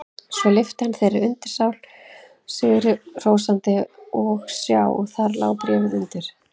Svo lyfti hann þeirri undirskál sigri hrósandi og sjá: Þar lá bréfið undir!